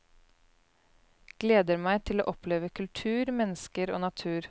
Gleder meg til å oppleve kultur, mennesker og natur.